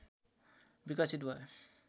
विकसित भयो